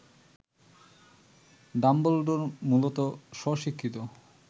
Dumbledore মূলত স্বশিক্ষিত